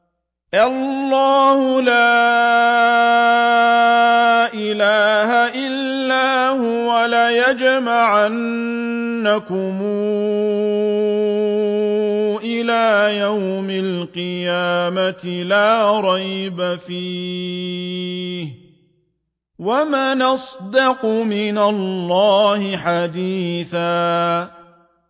اللَّهُ لَا إِلَٰهَ إِلَّا هُوَ ۚ لَيَجْمَعَنَّكُمْ إِلَىٰ يَوْمِ الْقِيَامَةِ لَا رَيْبَ فِيهِ ۗ وَمَنْ أَصْدَقُ مِنَ اللَّهِ حَدِيثًا